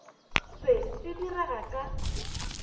se se di rega ka